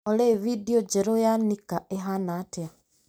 Olĩ bindiũ njerũ ya Nika ĩhana atĩa ?